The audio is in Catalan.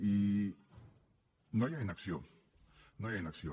i no hi ha inacció no hi ha inacció